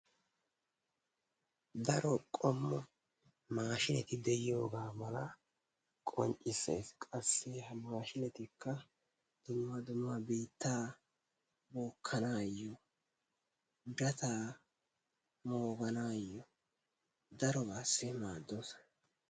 Daro qommo mashshineti de'iyoga mala qonccissees qassi ha mashshinetikka dumma dumma biittaa bookkanayo kattaa mooganayo darobaassi maaddoosona